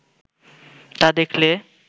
তা দেখলে